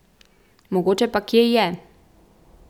Mogoče pa kje je.